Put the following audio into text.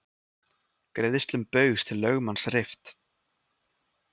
Greiðslum Baugs til lögmanns rift